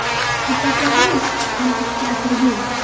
Kurtaklardan o‘sib chiqqan ikki atirgul.